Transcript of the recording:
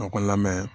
A ko lamɛn